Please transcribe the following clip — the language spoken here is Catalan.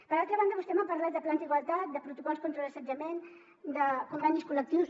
per altra banda vostè m’ha parlat de plans d’igualtat de protocols contra l’assetjament de convenis col·lectius